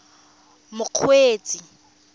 mokgweetsi